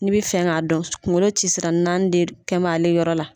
N'i be fɛ k'a dɔn kuŋolo ci sira naani de d kɛm'ale yɔrɔ la.